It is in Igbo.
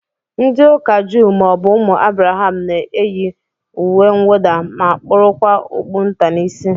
Ndị ụka juu maọbụ ụmụ Abraham na-eyi uwemwụda ma kpurukwa okpu nta n'isi